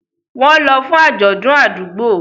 Wọ́n lọ fún àjọ̀dún àdúgbò.